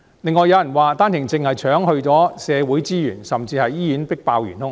另外，有人說單程證移民搶走社會資源，甚至是醫院迫爆的元兇。